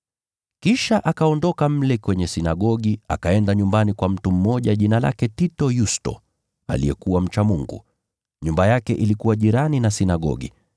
Kisha akaondoka mle kwenye sinagogi, akaenda nyumbani kwa mtu mmoja jina lake Tito Yusto, aliyekuwa mcha Mungu. Nyumba yake ilikuwa karibu na sinagogi.